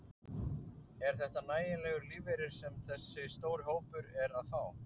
Er þetta nægjanlegur lífeyri sem þessi stóri hópur er að fá?